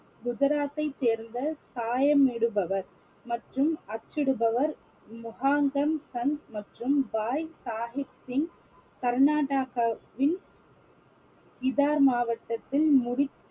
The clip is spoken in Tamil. குஜராத்தை சேர்ந்த சாயம் இடுபவர் மற்றும் அச்சிடுபவர் முகாந்தன் சந்த் மற்றும் பாய் சாஹிப் சிங் கர்நாடகாவின் கிதார் மாவட்டத்தின் முடி~